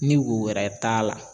Ni wo wɛrɛ t'a la